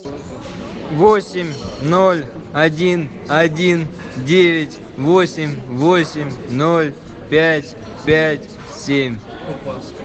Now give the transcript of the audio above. восемь ноль один один девять восемь восемь ноль пять пять семь